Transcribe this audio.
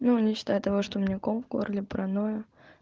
ну не считая того что у меня ком в горле паранойя